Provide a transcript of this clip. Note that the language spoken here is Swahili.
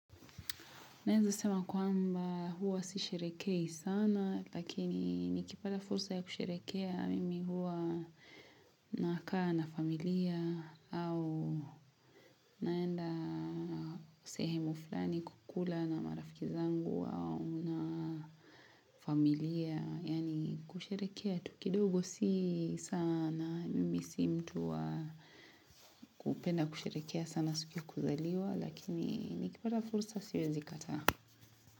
Naeza sema kwamba huwa si sherekehi sana lakini nikipata fursa ya kusherekea mimi huwa nakaa na familia au naenda sehemu fulani kukula na marafiki zangu au na familia yani kusherekea tu kidogo si sana mimi si mtu wa kupenda kusherekea sana siku ya kuzaliwa lakini nikipata fursa siwezi kataa.